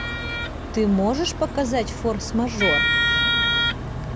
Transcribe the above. ты можешь показать форс мажор